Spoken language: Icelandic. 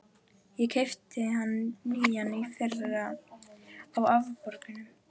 Ég keypti hann nýjan í fyrra, á afborgunum.